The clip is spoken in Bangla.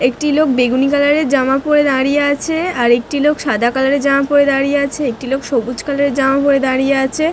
একটি লোক বেগুনি কালার -এর জামা পরে দাঁড়িয়ে আছে। আর একটি লোক সাদা কালার -এর জামা পরে দাঁড়িয়ে আছে। একটি লোক সবুজ কালার -এর জামা পরে দাঁড়িয়ে আছে --